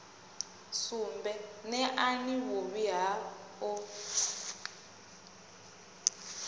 sumbe neani vhuvhi ha u